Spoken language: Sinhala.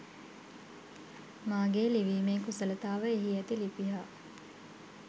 මගේ ලිවිමේ කුසලතාව එහි ඇති ළිපි හා